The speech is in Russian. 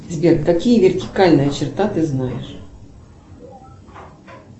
сбер какие вертикальная черта ты знаешь